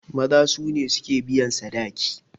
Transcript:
Maza su ne suke biyan sadaki.